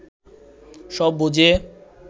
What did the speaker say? সব বুঝে